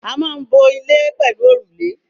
A maa n bo ile pelu orule